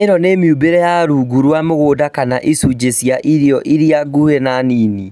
ĩno nĩ mĩũmbĩre ya rungu rwa mũgũnda kana icunjĩ cia irio iria nguhĩ na Nini